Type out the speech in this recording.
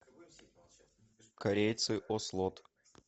корейцы ослот